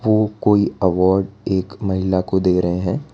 वो कोई अवॉर्ड एक महिला को दे रहे हैं।